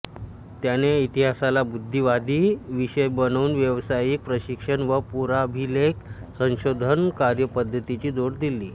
त्याने इतिहासाला बुद्धिवादी विषय बनवून व्यावसायिक प्रशिक्षण व पुराभिलेख संशोधन कार्यपद्धतीची जोड दिली